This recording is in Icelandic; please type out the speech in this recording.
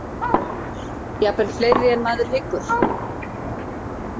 Jafnvel fleiri en maður hyggur.